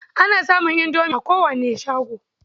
Ana samun indomi a kowane shago.